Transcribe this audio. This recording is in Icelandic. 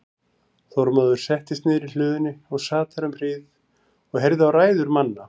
Þormóður settist niður í hlöðunni og sat þar um hríð og heyrði á ræður manna.